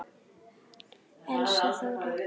Elsa Þóra.